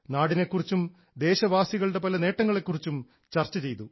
നാടിനെ കുറിച്ചും ദേശവാസികളുടെ പല നേട്ടങ്ങളെ കുറിച്ചും ചർച്ച ചെയ്തു